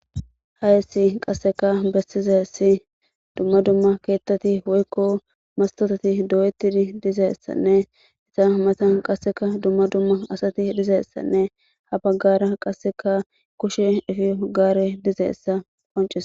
Haysi qasseka bessizesi dumma dumma keettati woykko mastotati do'etti dizeessanne isa mata qasseka dumma dumma asati dizeessanne ha baggara qasseka kushe ifi hogaare dizeessa qoncese.